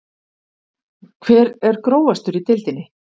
Hver er grófastur í deildinni?